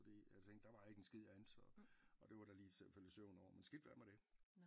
Fordi jeg tænkte der var ikke en skid andet så og det var da lige til at falde i søvn over men skidt være med det